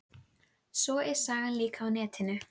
Svo er sagan líka á netinu.